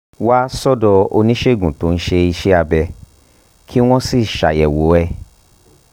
wá sọ́dọ̀ oníṣègùn tó ń ṣe iṣẹ́ abẹ́ kí wọ́n sì ṣàyẹ̀wò ẹ̀